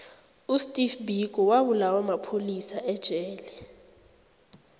usteve biko wabulawa mapholisa ejele